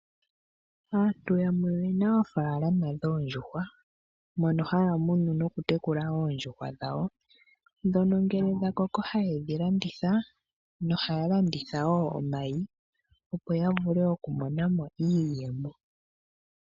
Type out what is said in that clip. Aantu yamwe oye na oofaalama dhoondjuhwa mono haya munu noku tekula oondjuhwa dhawo. Ndhono ngele dhakoko haye dhi landitha nohaya landitha wo omayi opo ya vule oku monamo iiyemo.